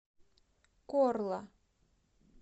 корла